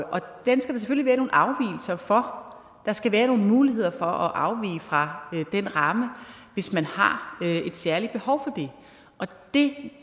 den skal være nogle afvigelser fra der skal være nogle muligheder for at afvige fra den ramme hvis man har et særligt behov for det